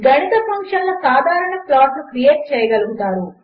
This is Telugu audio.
గణితఫంక్షన్లసాధారణప్లాట్లుక్రియేట్చేయగలుగుతారు